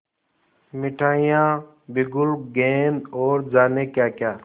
मिठाइयाँ बिगुल गेंद और जाने क्याक्या